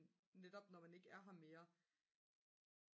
netop når man ikke er her mere